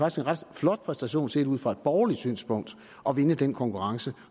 ret flot præstation set ud fra et borgerligt synspunkt at vinde den konkurrence